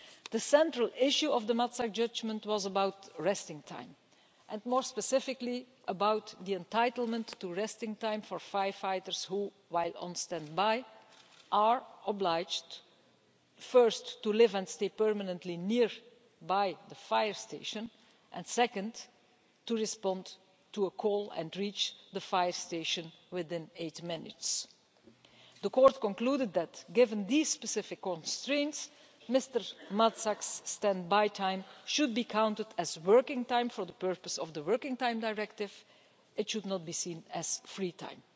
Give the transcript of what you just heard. The central issue of the Matzak judgment was about resting time and, more specifically, the entitlement to resting time for firefighters who, while on standby, are obliged, first, to live and stay permanently near to the fire station and, second, to respond to a call and reach the fire station within eight minutes. The Court concluded that, given these specific constraints, Mr Matzak's standby time should be counted as working time for the purpose of the Working Time Directive and should not be seen as free time.